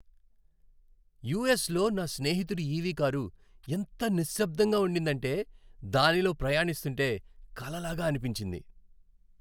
యూఎస్లో నా స్నేహితుడి ఈవీ కారు ఎంత నిశ్శబ్దంగా ఉండిందంటే దానిలో ప్రయాణిస్తుంటే కలలాగా అనిపించింది.